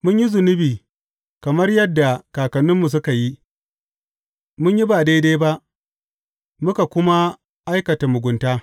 Mun yi zunubi, kamar yadda kakanninmu suka yi; mun yi ba daidai ba muka kuma aikata mugunta.